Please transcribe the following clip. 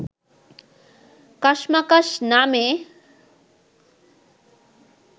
কাশমাকাশ’ নামে